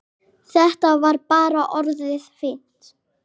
Þetta var bara orðið fínt.